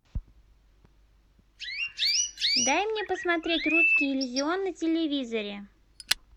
дай мне посмотреть русский иллюзион на телевизоре